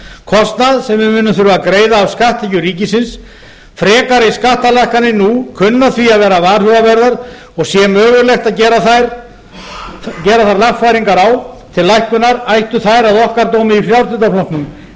kostnað sem við munum þurfa að greiða af skatttekjum ríkisins frekari skattalækkanir nú kunna því að vera varhugaverðar og sé mögulegt að gera þar lagfæringar á til lækkunar ætti það að okkar dómi í frjálslynda flokknum